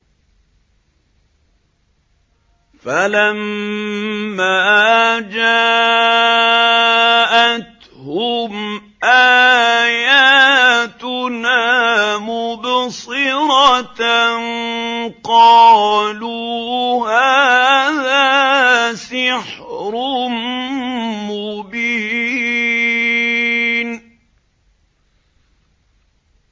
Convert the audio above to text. فَلَمَّا جَاءَتْهُمْ آيَاتُنَا مُبْصِرَةً قَالُوا هَٰذَا سِحْرٌ مُّبِينٌ